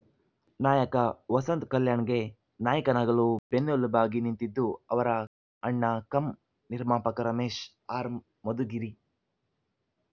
ನಾಯಕ ವಸಂತ್‌ ಕಲ್ಯಾಣ್‌ಗೆ ನಾಯಕನಾಗಲು ಬೆನ್ನೆಲುಬಾಗಿ ನಿಂತಿದ್ದು ಅವರ ಅಣ್ಣ ಕಂ ನಿರ್ಮಾಪಕ ರಮೇಶ್‌ ಆರ್‌ ಮಧುಗಿರಿ